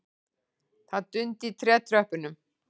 Það dundi í trétröppunum.